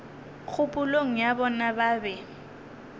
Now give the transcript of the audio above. kgopolong ya bona ba be